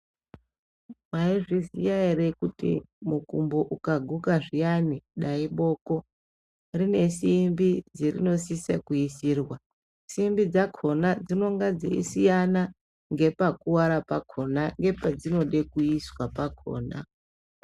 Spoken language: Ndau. Maizviziya ere kuti mukumbo ukaguka zviyani dai iboko rinesimbi dzerinosisa kuisirwa simbi dzakhona dzinonga dzeisiyana ngepakuwara pakhona ngepedzinode kuiswa pakhona.